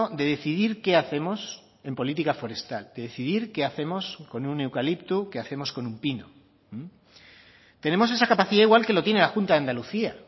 de decidir qué hacemos en política forestal de decidir qué hacemos con un eucalipto qué hacemos con un pino tenemos esa capacidad igual que lo tiene la junta de andalucía